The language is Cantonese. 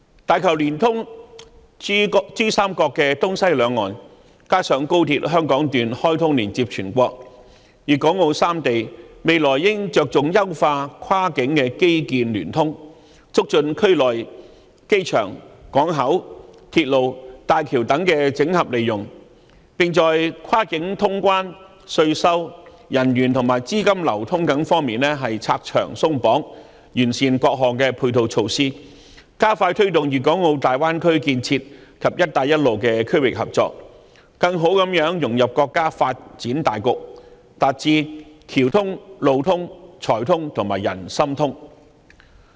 大橋聯通珠三角的東西兩岸，加上廣深港高速鐵路香港段開通連接全國，粵港澳三地未來應着重優化跨境的基建聯通，促進區內機場、港口、鐵路和大橋等整合利用，並在跨境通關、稅收、人員和資金流通等方面"拆牆鬆綁"，完善各項配套措施，加快推動粵港澳大灣區建設及"一帶一路"的區域合作，更好地融入國家發展大局，達致橋通、路通、財通和人心通。